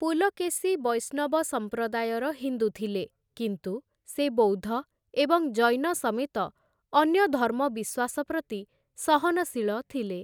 ପୁଲକେଶୀ ବୈଷ୍ଣବ ସମ୍ପ୍ରଦାୟର ହିନ୍ଦୁ ଥିଲେ, କିନ୍ତୁ ସେ ବୌଦ୍ଧ ଏବଂ ଜୈନ ସମେତ ଅନ୍ୟ ଧର୍ମ ବିଶ୍ୱାସ ପ୍ରତି ସହନଶୀଳ ଥିଲେ ।